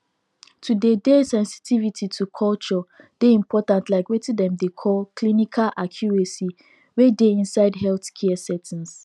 to dey dey sensitivity to culture dey important like weting dem dey call clinical accuracy wey dey inside healthcare settings